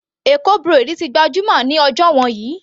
Eko braid ti gbajúmọ̀ ní ọjọ́ wọ̀nyí.